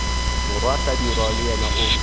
morwa hlabirwa le yena o